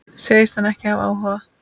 Segist hann ekki hafa áhuga?